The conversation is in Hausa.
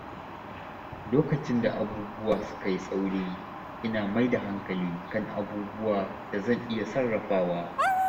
Lokacin da abubuwa suka yi tsauri, ina mai da hankali kan abubuwan da zan iya sarrafawa.